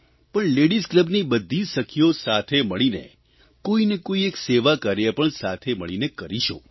પણ લેડીઝ કલબની બધી સખીઓ સાથે મળીને કોઇ ને કોઇ એક સેવાકાર્ય પણ સાથે મળીને કરીશું